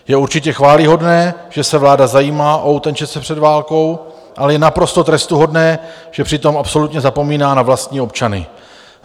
Je určitě chvályhodné, že se vláda zajímá o utečence před válkou, ale je naprosto trestuhodné, že přitom absolutně zapomíná na vlastní občany.